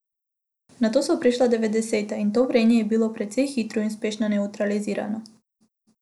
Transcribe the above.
Nato so prišla devetdeseta, in to vrenje je bilo precej hitro in uspešno nevtralizirano.